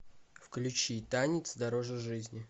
включи танец дороже жизни